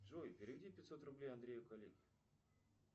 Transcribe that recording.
джой переведи пятьсот рублей андрею коллеге